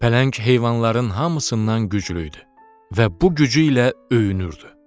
Pələng heyvanların hamısından güclü idi və bu gücü ilə öyünürdü.